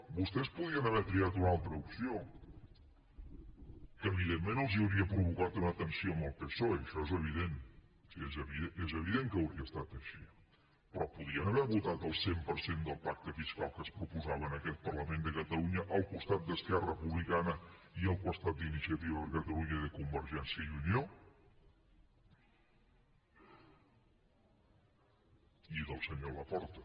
vostès podrien haver triat una altra opció que evidentment els hauria provocat una tensió amb el psoe això és evident és evident que hauria estat així però podrien haver votat el cent per cent del pacte fiscal que es proposava en aquest parlament de catalunya al costat d’esquerra republicana i al costat d’iniciativa per catalunya i de convergència i unió i del senyor laporta